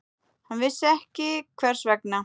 Hann vissi ekki hvers vegna.